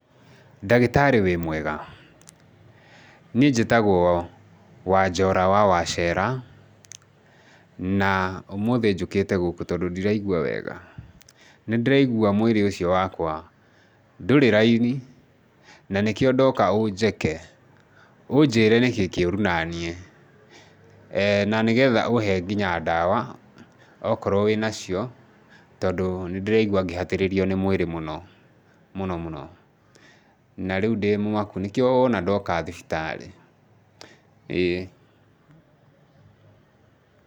Ndagĩtarĩ wĩ mwega? Niĩ njĩtagwo Wanjora wa Wacera, na ũmũthĩ njũkĩte gũkũ tondũ ndiraigwa wega. Nĩndĩraigwa mwĩrĩ ũcio wakwa ndũrĩ raini na nĩkĩo ndoka ũnjeke, ũnjĩre nĩkĩ kĩũru nanie, na nĩgetha ũhe nginya ndawa okorwo wĩna cio tondũ nĩndĩraigwa ngĩhatĩrĩrio nĩ mwĩrĩ mũno mũno mũno, na rĩu ndĩmũmaku nĩkĩo wona ndoka thibitarĩ, ĩĩ. Pause